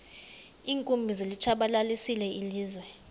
iinkumbi zilitshabalalisile ilizwe